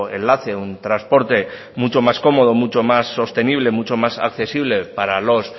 enlace un transporte mucho más cómodo mucho más sostenible mucho más accesible para los